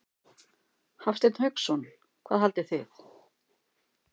Hafsteinn Hauksson: Hvað haldið þið?